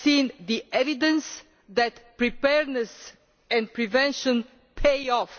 We have seen the evidence that preparedness and prevention pay off.